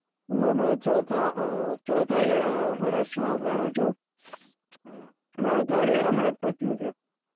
હું હમણાં ચોથા આ હમ્મ year આ વર્ષ માં ભણું છું, મારુ third year હમણાં જ પત્યું છે.